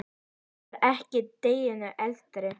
Ég var ekki deginum eldri.